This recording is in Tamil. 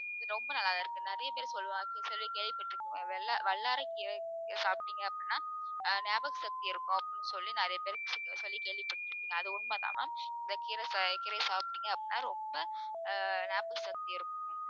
இது ரொம்ப நல்லாதான் இருக்கு நிறைய பேர் சொல்லுவாங்க சொல்லி கேள்விப்பட்ட வல்லாரைக் கீரையை சாப்பிட்டீங்க அப்படின்னா ஆஹ் ஞாபக சக்தி இருக்கும் அப்படின்னு சொல்லி நிறைய பேருக்கு சொல்லி கேள்விப்பட்டிருப்பீங்க அது உண்மைதான் ma'am இந்தக் கீரை சா~ கீரையை சாப்பிட்டீங்க அப்படின்னா ரொம்ப ஆஹ் ஞாபக சக்தி இருக்கும்